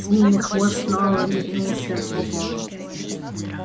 змеиный хвост снова метнулся по полу